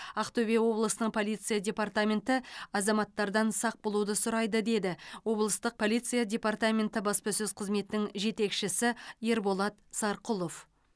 ақтөбе облысының полиция департаменті азаматтардан сақ болуды сұрайды деді облыстық полиция департаменті баспасөз қызметінің жетекшісі ерболат сарқұлов